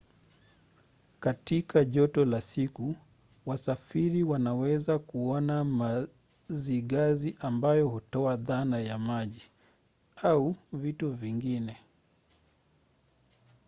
katika joto la siku wasafiri wanaweza kuona mazigazi ambayo hutoa dhana ya maji au vitu vingine